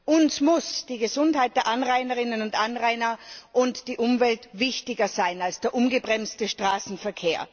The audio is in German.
Uns müssen die Gesundheit der Anrainerinnen und Anrainer und die Umwelt wichtiger sein als der ungebremste Straßen.